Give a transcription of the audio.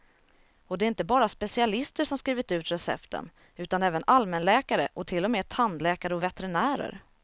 Och det är inte bara specialister som skrivit ut recepten, utan även allmänläkare och till och med tandläkare och veterinärer.